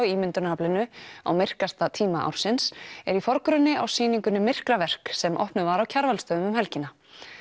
ímyndunaraflinu á myrkasta tíma ársins eru í forgrunni á sýningunni myrkraverk sem opnuð var á Kjarvalsstöðum um helgina